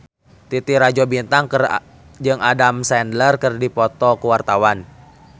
Titi Rajo Bintang jeung Adam Sandler keur dipoto ku wartawan